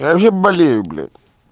я вообще болею блять